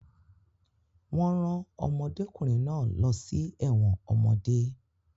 Wọ́n rán ọmọdékùnrin náà lọ sí ẹ̀wọ̀n ọmọdé